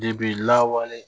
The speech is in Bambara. lawale